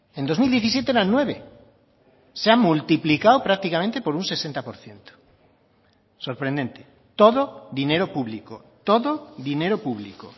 en dos mil diecisiete eran nueve se ha multiplicado prácticamente por un sesenta por ciento sorprendente todo dinero público todo dinero público